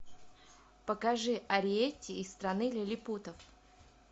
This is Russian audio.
покажи ариэтти из страны лилипутов